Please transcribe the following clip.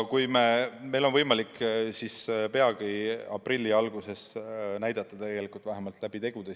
Meil on võimalik peagi, aprilli alguses näidata seda ka tegudega.